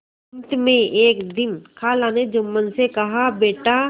अंत में एक दिन खाला ने जुम्मन से कहाबेटा